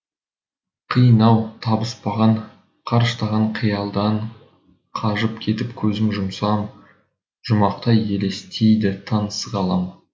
қиын ау табыспаған қарыштаған қиялдан қажып кетіп көзім жұмсамжұмақтай елестейді таныс ғалам